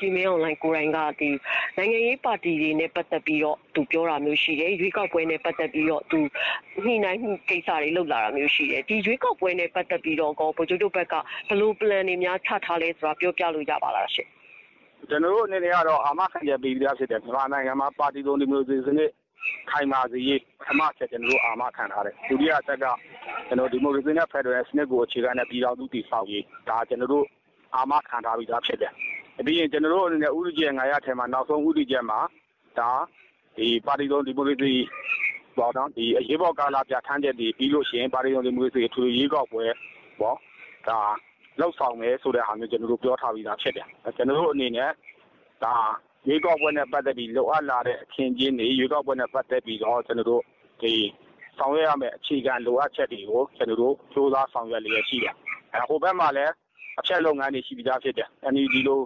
ကြီးမင်းအောင်လှိုင်ကိုယ်တိုင်က နိုင်ငံရေးပါတီတွေနဲ့ပတ်သက်ပြီးတော့ သူပြောတာမျိုးရှိတယ်။ ရွေးကောက်ပွဲနဲ့ ပတ်သက်ပြီး သူညှိနှိုင်းမှုကိစ္စတွေလုပ်တာတာမျိုးရှိတယ်။ ဒီရွေးကောက်ပွဲနဲ့ပတ်သက်ပြီးတော့ ဗိုလ်ချုပ်တို့ဘက်က ဘယ်လို plan တွေများ ချထားလဲဆိုတာ ပြောပြလို့ရမလား။ ကျွန်တော်တို့ အနေနဲ့ကတော့ အာမခံချက်ပေးပြီးသားဖြစ်တယ်။ မြန်မာနိုင်ငံမှာ ပါတီစုံဒီမိုကရေစီစနစ် ခိုင်မာစေရေး ပထမအချက်ကျွန်တော်တို့အာမခံထားတယ်။ ဒုတိယအချက်က ကျွန်တော်တို့ ဒီမိုကရေစီနဲ့ ဖက်ဒရယ်စနစ်ကို အခြေခံတဲ့ ပြည်ထောင်စုတည်ဆောက်ရေး။ ဒါ ကျွန်တော်တို့ အာမခံထားပြီးသားဖြစ်တယ်။ ပြီးရင် ဦးတည်ချက် ၅ ရပ်ထဲက နောက်ဆုံးဦးတည်ချက်မှာ ဒီပါတီစုံဒီမိုကရေစီအရေးပေါ်ကာလ ပြဌာန်းချက်တွေ၊ ပြီးလို့ရှိရင် ပါတီစုံဒီမိုကရေစီအထွေထွေရွေးကောက်ပွဲအပေါ် လုပ်ဆောင်မယ်ဆိုတဲ့ဟာမျိုး ကျွန်တော်တို့ ပြောထားပြီးသားဖြစ်တယ်။ ကျွန်တော်တို့အနေနဲ့ ဒါရွေးကောက်ပွဲနဲ့ပတ်သက်ပြီး လိုအပ်လာတဲ့အခင်းအကျင်းတွေ၊ ဆောင်ရွက်ရမယ့် အခြေခံလိုအပ်ချက်တွေကို ကျွန်တော်တို့ ကြိုးစားဆောင်ရွက်လျက်ရှိတယ်။ ဟိုဘက်မှာလည်း အဖျက်လုပ်ငန်းတွေရှိပြီးသားဖြစ်တယ်။ NUG လို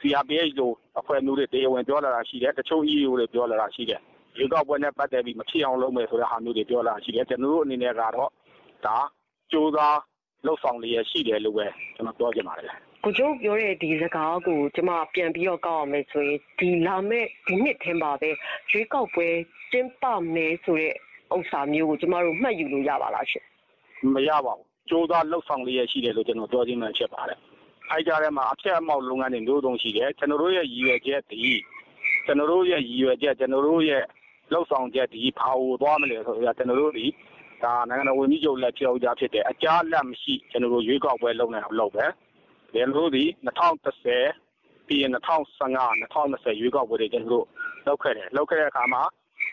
CRPH လို အဖွဲ့မျိုးတွေ တရားဝင်ပြောလာတာရှိတယ်။ တချို့ EAO တွေပြောလာတာရှိတယ်။ ရွေးကောက်ပွဲနဲ့ပတ်သက်ပြီး မဖြစ်အောင်လုပ်မယ်ဆိုတာမျိုးတွေ ပြောလာတာရှိတယ်။ ကျွန်တော်တို့အနေနဲ့ကတော့ ဒါကြိုးစားလုပ်ဆောင်လျက်ရှိတယ်လို့ပဲ ပြောချင်ပါတယ်။ ဗိုလ်ချုပ်ပြောတဲ့စကားကို ပြန်ကောက်မယ်ဆိုရင် ဒီနှစ်ထဲမှာ ရွေးကောက်ပွဲကျင်းပမယ်ဆိုတာမျိုးကို ကျွန်မတို့ မှတ်ယူလို့ရပါသလားရှင့်။ မရပါဘူး။ ကြိုးစားလုပ်ဆောင်လျက်ရှိတယ်လို့ ကျွန်တော်ပြောခြင်းပဲဖြစ်ပါတယ်။ ဒီကြားထဲမှာ အဖျက်အမှောင့်လုပ်ငန်းတွေ မျိုးစုံရှိတယ်။ ကျွန်တော်တို့ရဲ့ ရည်ရွယ်ချက်၊ ကျွန်တော်တို့ရဲ့ လုပ်ဆောင်ချက်သည် ဘာကိုသွားမလဲဆိုတော့ နိုင်ငံတော်ဝန်ကြီးချုပ်လည်း ပြောပြီးသားဖြစ်တယ်။ အကြားအလတ်မရှိ ရွေးကောက်ပွဲလုပ်နိုင်အောင်လုပ်မယ်။ ၂၀၁၀၊ ၂၀၁၅၊ ၂၀၂၀့ရွေးကောက်ပွဲတွေ ကျွန်တော်တို့လုပ်ခဲ့တယ်။ ၂၀၁၀မှာ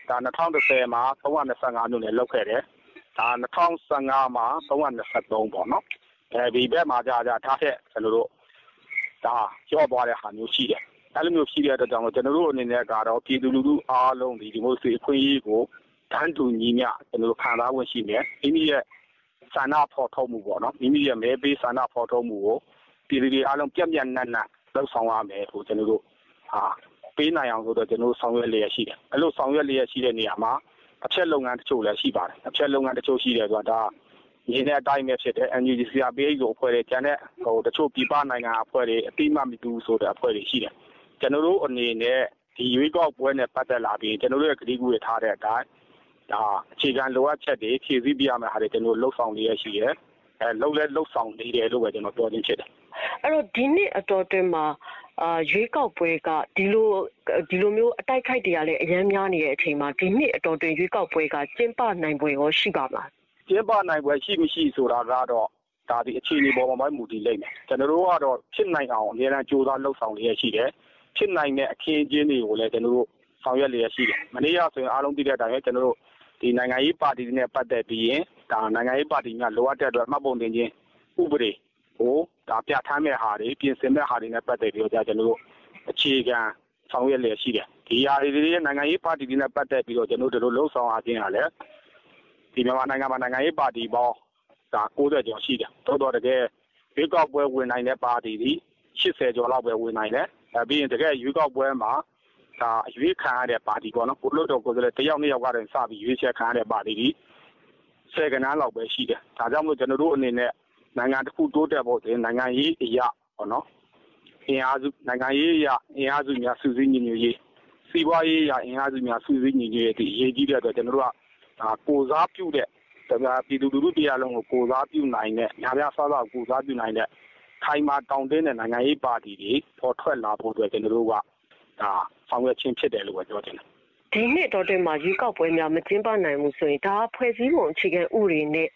၃၂၅မြို့နယ်၊ ၂၀၁၅မှာ ၃၂၃ပေါ့နော်။ ဒီဘက်မှာကျတော့ target လျော့သွားတဲ့ဟာမျိုးရှိတယ်။ အဲလိုမျိုးရှိတဲ့အတွက်ကြောင့်မလို့ ကျွန်တော်တို့ဘက်ကတော့ ပြည်သူလူထုအားလုံးသည် ဒီမိုကရေစီအခွင့်အရေးကို တန်းတူညီမျှခံစားခွင့်ရှိတယ်။ မိမိရဲ့ မဲပေးဆန္ဒဖော်ထုတ်မှုကို ပြည်သူတွေအားလုံးပြန့်ပြန့်နှံ့နှံ့လုပ်ဆောင်နိုင်ဖို့ ကျွန်တော်တို့ ဆောင်ရွက်လျက်ရှိတယ်။ အဲဒီလိုဆောင်ရွက်လျက်ရှိတဲ့နေရာမှာ အဖျက်လုပ်ငန်းတချို့လည်းရှိပါတယ်။ ဒါမြင်တဲ့အတိုင်းပဲဖြစ်တယ်။ NUG CRPH လိုအဖွဲ့တွေ၊ ကျန်တဲ့ တချို့ပြည်ပနိုင်ငံက အဖွဲ့တွေ အသိအမှတ်မပြုဘူးဆိုတဲ့အဖွဲ့တွေရှိတယ်။ ကျွန်တော်တို့အနေနဲ့ ဒီရွေးကောက်ပွဲနဲ့ပတ်သက်လာပြီး ကတိကဝတ်ထားတဲ့အတိုင်း ဒါအခြေခံလိုအပ်ချက်တွေ၊ ဖြည့်ဆည်းပေးရမှာတွေ လုပ်ဆောင်လျက်ရှိတယ်။ လုပ်လည်းလုပ်ဆောင်နေတယ်လို့ ကျွန်တော်ပြောခြင်းဖြစ်တယ်။ ဒီနှစ်အတောအတွင်းမှာ ဒီလိုမျိုးအတိုက်အခိုက်တွေကလည်း အရမ်းများနေတဲ့အချိန်မှာ ရွေးကောက်ပွဲက ကျင်းပနိုင်ချေေရော ရှိပါသလား ကျင်းပနိုင်ဖွယ်ရှိမရှိဆိုတာကတော့ ဒါသည် အခြေအနေပေါ်မှာပဲ မူတည်လိမ့်မယ်။ ကျွန်တော်တို့ကတော့ ဖြစ်နိုင်တာကို အမြဲတမ်းကြိုးစားလုပ်ဆောင်လျက်ရှိတယ်။ ဖြစ်နိုင်တဲ့အခင်းအကျင်းတွေကိုလည်း ဆောက်ရွက်လျက်ရှိတယ်။ မနေ့ကဆိုရင် အားလုံးသိတဲ့အတိုင်းပဲ။ နိုင်ငံရေးပါတီတွေနဲ့ ပတ်သက်ပြီး နိုင်ငေံရေးပါတီတွေ လိုအပ်တဲ့မှတ်ပုံတင်ခြင်းဥပဒေကို ပြဌာန်းမယ့်ဟာတွေ ပြင်ဆင်မယ့်ဟာတွေနဲ့ ပတ်သက်ပြီး ဒါကျွန်တော်တို့ အခြေခံဆောင်ရွက်လျက်ရှိတယ်။ ဒီဟာတွေ နိုင်ငံရေးပါတီတွေနဲ့ပတ်သက်ပြီးတော့ ဒီလိုလုပ်ဆောင်ရခြင်းဟာလည်း မြန်မာနိုင်ငံမှာ နိုင်ငံရေးပါတီပေါင်း ၉၀ ကျော်ရှိတယ်။ တကယ်ရွေးကောက်ပွဲနိုင်တာ ၈၀ ကျော်လောက်ပဲဝင်နိုင်တယ်။ အဲဒါပြီးရင် တကယ့်ရွေးကောက်ပွဲမှာ အရွေးခံနိုင်တဲ့ပါတီပေါ့နော် လွှတ်တော်ကိုယ်စားလှယ်တစ်ယောက် နှစ်ယောက်ကနေစပြီးတော့ ရွေးချယ်ခံရတဲ့ပါတီသည် ဆယ်ဂဏန်းလောက်ပဲရှိတယ်။ ဒါကြောင့်မလို့ ကျွန်တော်တို့အနေနဲ့ နိုင်ငံတခုတိုးတက်ဖို့ နိုင်ငံရေးအရ အင်အားစုများစုစည်းညီညွတ်ရေး၊ စီးပွားရေးအရအင်အားစုများ စုစည်းညီညွတ်ရေးသည် အရေးကြီးတဲ့အတွက် ကျွန်တော်တို့က ပြည်သူလုထုတရပ်လုံးကို ကိုယ်စားပြုနိုင်တဲ့ ခိုင်မာတောင့်တင်းတဲ့ နိုင်ငံရေးပါတီတွေပေါ်ထွက်လာဖို့အတွက် ကျွန်တော်တို့ ဆောင်ရွက်ခြင်းဖြစ်တယ်လို့ပဲ ပြောချင်တယ်။ ဒီနှစ်အတောအတွင်းမှာ ေွရးကောက်ပွဲများ မကျင်းပနိုင်ဘူးဆိုရင် ဒါဟာ ဖွဲ့စည်းပုံနဲ့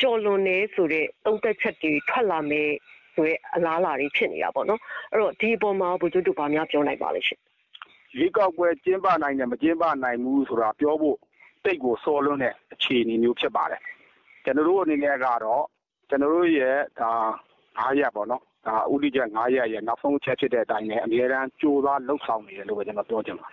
ကျော်လွန်တယ်ဆိုတဲ့ သုံးသပ်ချက်တွေ ထွက်လာမယ့် အလားလာတွေဖြစ်နေတာပေါ့နော်။ ဒီအပေါ်မှာရော ဗိုလ်ချုပ်တို့ ဘာများပြောနိုင်ပါသလဲရှင့်။ ရွေးကောက်ပွဲကျင်းပနိုင်မယ် မကျင်းပနိုင်ဘူးဆိုတာ ပြောဖို့ သိပ်ကိုစောလွန်းတဲ့ အခြေအနေမျိုးဖြစ်ပါတယ်။ ကျွန်တော်တို့အနေနဲ့ကတော့ ကျွန်တော်တို့ရဲ့ ဦးတည်ချက် ရပ်ရဲ့ နောက်ဆုံးအချက်ဖြစ်တဲ့အတိုင်းပဲ အမြဲတမ်းကြိုးစားလုပ်ဆောင်နေတယ်လို့ပဲ ပြောချင်ပါတ